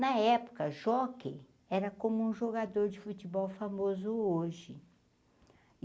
Na época, jockey era como um jogador de futebol famoso hoje.